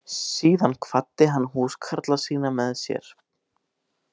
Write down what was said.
Síðan kvaddi hann húskarla sína með sér.